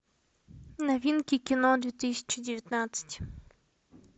новинки кино две тысячи девятнадцать